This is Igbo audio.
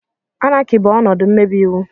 Anarchy bụ ọnọdụ mmebi iwu.